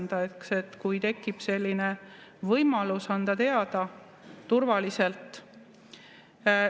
et tekiks selline võimalus anda teada turvaliselt.